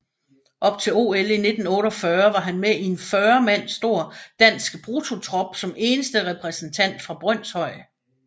Op til OL i 1948 var han med i en 40 mand stor danske bruttotrup som eneste repræsentant fra Brønshøj